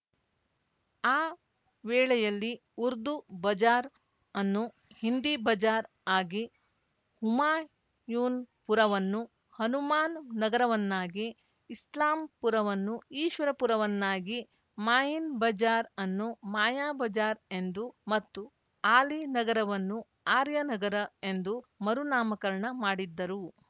ಆ ವೇಳೆಯಲ್ಲಿ ಉರ್ದು ಬಜಾರ್‌ ಅನ್ನು ಹಿಂದಿ ಬಜಾರ್‌ ಆಗಿ ಹುಮಾಯೂನ್‌ಪುರವನ್ನು ಹನುಮಾನ್‌ ನಗರವನ್ನಾಗಿ ಇಸ್ಲಾಂಪುರವನ್ನು ಈಶ್ವರಪುರವನ್ನಾಗಿ ಮಾಯಿನ್‌ ಬಜಾರ್‌ ಅನ್ನು ಮಾಯಾ ಬಜಾರ್‌ ಎಂದು ಮತ್ತು ಆಲಿ ನಗರವನ್ನು ಆರ್ಯ ನಗರ ಎಂದು ಮರುನಾಮಕರಣ ಮಾಡಿದ್ದರು